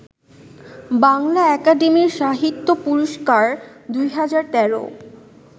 Bangla academy সাহিত্য পুরস্কার ২০১৩